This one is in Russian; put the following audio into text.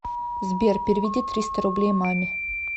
сбер переведи триста рублей маме